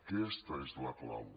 aquesta és la clau